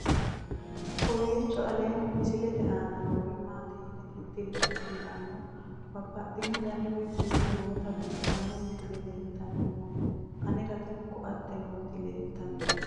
kowiicho aleenni misilete aana noori maati yine titire kulliro babaxino dani woy kuuli nooti biiffanno misile leeltanni nooe anera tino koate nooti leeltannoe